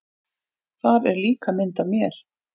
Þar er líka mynd af mér.